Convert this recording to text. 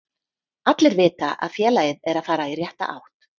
Allir vita að félagið er að fara í rétta átt.